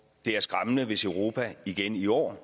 det er skræmmende hvis europa igen i år